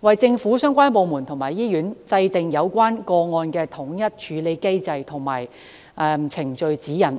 為政府相關部門和醫院制訂有關個案的統一處理機制和程序指引。